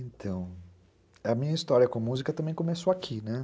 Então, a minha história com música também começou aqui, né?